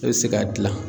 E bɛ se k'a dilan